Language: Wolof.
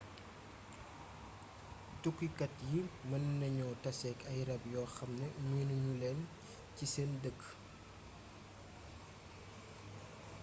tukkikat yi mën nañu taseek ay ràb yoo xamne miinu ñuleen ci seeni dëkk